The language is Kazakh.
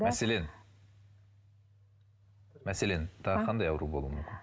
мәселен мәселен тағы қандай ауру болуы мүмкін